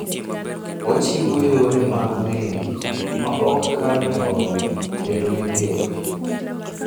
Ochiwo yore mag meli maok kal tong' kendo migeno.